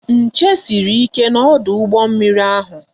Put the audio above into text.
Nche sịrị ike na ọdụ ụgbọ mmiri ahụ